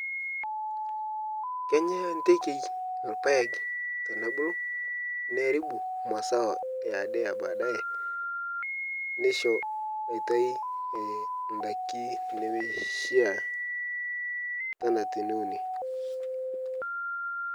kenya intekei lpaeg tenebulu nearibu masao yaade ebaadaye neisho maitai ndaki nemeishia tana teneuni